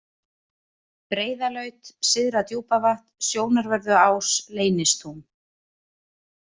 Breiðalaut, Syðra-Djúpavatn, Sjónarvörðuás, Leynistún